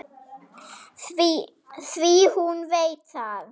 Því hún veit það.